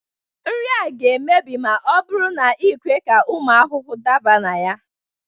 Nri a ga-emebi ma ọ bụrụ na i kwe ka ụmụ ahụhụ daba na ha